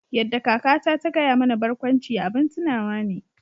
Yadda kakata ta gaya mana barkwanci abin tunawa ne